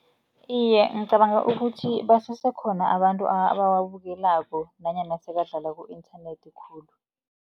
Iye, ngicabanga ukuthi basese khona abantu abawabukelako, nanyana sekadlala ku-inthanethi khulu.